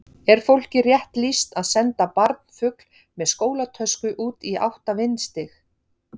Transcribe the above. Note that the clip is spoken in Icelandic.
Er fólki rétt lýst að senda barnfugl með skólatösku út í átta vindstig?